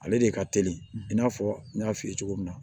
Ale de ka teli i n'a fɔ n y'a f'i ye cogo min na